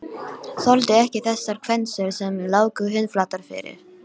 Þoldi ekki þessar kvensur sem lágu hundflatar fyrir